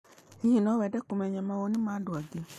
Hihi no wende kũmenya mawoni ma andũ angĩ?